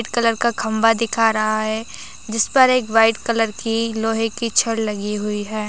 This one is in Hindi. व्हाइट कलर का खंबा दिख रहा है जिस पर एक व्हाइट कलर की लोहे की छड़ लगी हुई है।